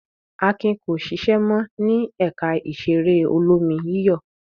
Akin ko ṣiṣẹ́ mọ́ ní ẹ̀ka ìṣeré olómi-yíyọ̀.